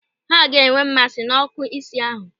Ha ga-enwe mmasị n'ọ́kụ́ isi ahụ.